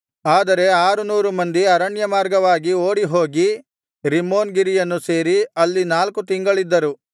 ಆದರೆ ಆರು ನೂರು ಮಂದಿ ಅರಣ್ಯಮಾರ್ಗವಾಗಿ ಓಡಿಹೋಗಿ ರಿಮ್ಮೋನ್ ಗಿರಿಯನ್ನು ಸೇರಿ ಅಲ್ಲಿ ನಾಲ್ಕು ತಿಂಗಳಿದ್ದರು